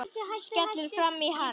Skellur framan í hann.